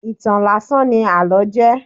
Ìtàn láásán ní àlọ́ jẹ́.